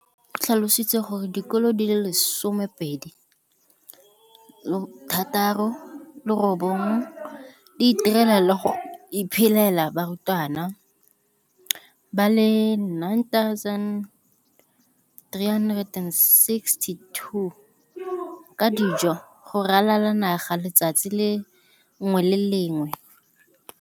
o tlhalositse gore dikolo di le 20 619 di itirela le go iphepela barutwana ba le 9 032 622 ka dijo go ralala naga letsatsi le lengwe le le lengwe.